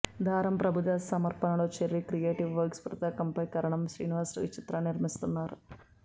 దారం ప్రభుదాస్ సమర్పణలో cherry creative works పతాకంపై కరణం శ్రీనివాసరావు ఈ చిత్రాన్ని నిర్మిస్తున్నారు